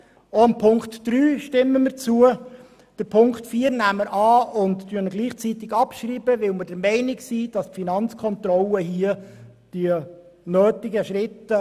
Auch Ziffer 3 stimmen wir zu, und Ziffer 4 nehmen wir bei gleichzeitiger Abschreibung an, weil wir der Meinung sind, die Finanzkontrolle unternehme die zur Überwachung nötigen Schritte.